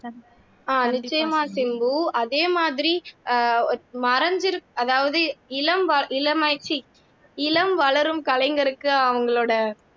அஹ் நிச்சயமா சிம்பு அதே மாதிரி அஹ் மறைஞ்சு அதாவது இளம் இளமை ச்சி இளம் வளரும் கலைஞருக்கு அவங்களோட